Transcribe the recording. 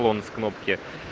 он в кнопке